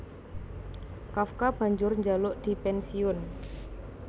Kafka banjur njaluk dipènsiyun